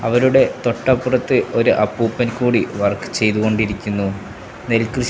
അവരുടെ തൊട്ടപ്പുറത്ത് ഒരു അപ്പൂപ്പൻ കൂടി വർക്ക് ചെയ്തു കൊണ്ടിരിക്കുന്നു നെൽകൃഷി --